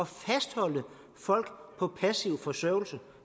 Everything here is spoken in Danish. fastholde folk på passiv forsørgelse